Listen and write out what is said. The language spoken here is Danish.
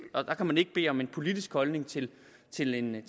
og der kan man ikke bede om en politisk holdning til til en